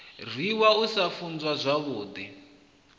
rwiwa u sa funzwa zwavhudi